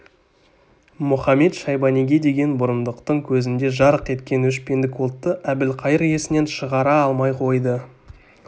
мұхамед-шайбаниге деген бұрындықтың көзінде жарқ еткен өшпендік отты әбілқайыр есінен шығара алмай қойды